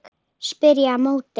spyr ég á móti.